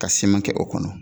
Ka kɛ o kɔnɔ